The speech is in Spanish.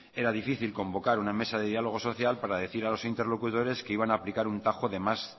era difícil convocar una mesa de diálogo social para decir a los interlocutores que iban a aplicar un tajo de más